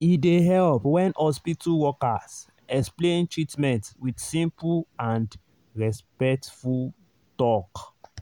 e dey help when hospital workers explain treatment with simple and respectful talk.